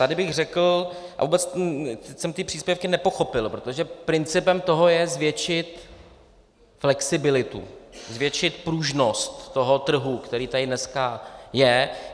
Tady bych řekl, a vůbec jsem ty příspěvky nepochopil, protože principem toho je zvětšit flexibilitu, zvětšit pružnost toho trhu, který tady dneska je.